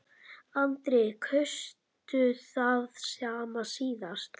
Andri: Kaustu það sama síðast?